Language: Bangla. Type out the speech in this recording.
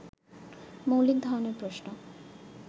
মৌলিক ধরনের প্রশ্ন